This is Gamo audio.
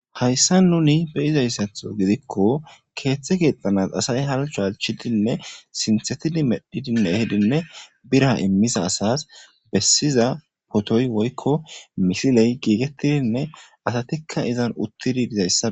Hayssa nuni beyizayssatho gidikko keeththe geexxanas asay halcho halchidinne sinthetidi medhidinne ehidinne bira immisa asas bessiza potoy woykko misiley giigettidinne asatikka izan uttidi dizayssa